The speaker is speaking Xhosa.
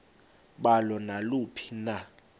balo naluphi na